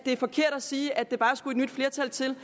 er forkert at sige at der bare skulle et nyt flertal til